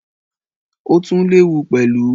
ó tún léwu pẹ̀lú.